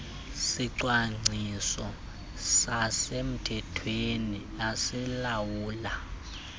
sicwangciso sasemthethweni esilawula